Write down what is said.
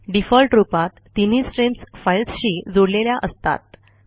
default रूपात तीनही streams फाईल्सशी जोडलेल्या असतात